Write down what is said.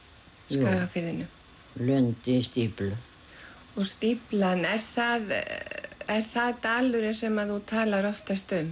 Skagafirðinum jú Lundi í stíflu og stíflan er það er það dalurinn sem þú talar oftast um